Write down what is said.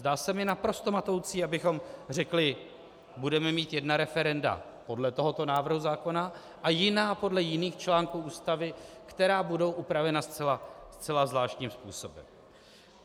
Zdá se mi naprosto matoucí, abychom řekli: Budeme mít jedna referenda podle tohoto návrhu zákona, a jiná podle jiných článků Ústavy, která budou upravena zcela zvláštním způsobem.